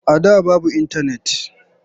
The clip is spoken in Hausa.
A da babu intanet.